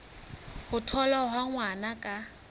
ho tholwa ha ngwana ka